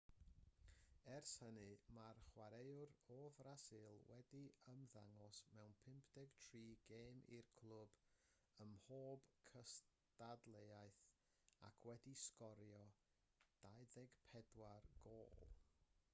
ers hynny mae'r chwaraewr o frasil wedi ymddangos mewn 53 gêm i'r clwb ym mhob cystadleuaeth ac wedi sgorio 24 gôl